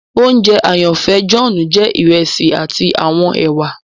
Ounjẹ àyànfẹ John jẹ iresi ati awọn èwà